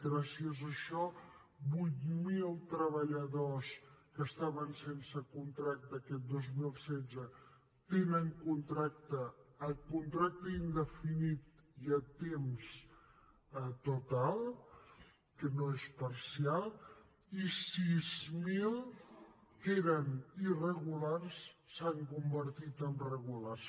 gràcies a això vuit mil treballadors que estaven sense contracte aquest dos mil setze tenen contracte indefinit i a temps total que no és parcial i sis mil que eren irregulars s’han convertit en regulars